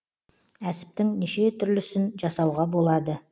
әсіптің неше түрлісін жасауға болады